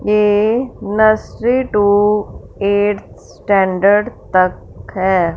ये nursery to eight standard तक है।